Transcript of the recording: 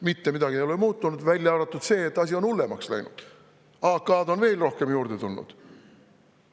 Mitte midagi ei ole muutunud, välja arvatud see, et asi on hullemaks läinud: AK on veel rohkem juurde tulnud.